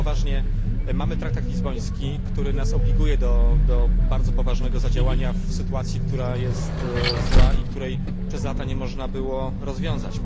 Ale poważnie, mamy traktat lizboński, który nas obliguje do bardzo poważnego działania w sytuacji, która jest zła i której przez lata nie można było rozwiązać.